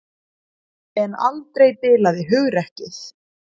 En aldrei bilaði hugrekkið.